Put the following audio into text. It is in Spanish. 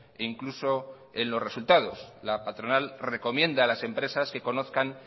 e incluso en los resultados la patronal recomienda a las empresas que conozcan